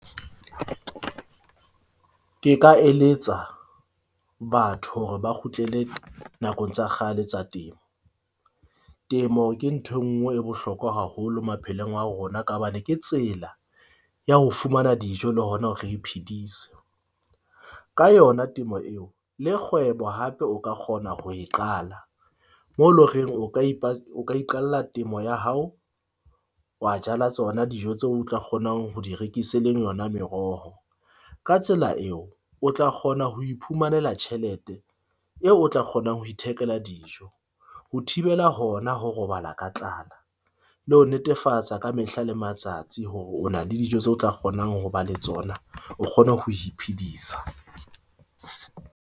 Ke ka eletsa batho hore ba kgutlele nakong tsa kgale tsa temo. Temo ke nthwe nngwe e bohlokwa haholo maphelong a rona, ka hobane ke tsela ya ho fumana dijo le hona hore re iphedisa ka yona temo eo le kgwebo hape o ka kgona ho e qala mo loreng o ka o ka iqalla temo ya hao, wa jala tsona dijo tseo o tla kgonang ho di rekise e leng yona meroho. Ka tsela eo o tla kgona ho iphumananela tjhelete eo o tla kgonang ho ithekela dijo, ho thibela hona ho robala ka tlala, le ho netefatsa ka mehla le matsatsi hore o na le dijo tse o tla kgonang ho ba le tsona o kgone ho iphedisa.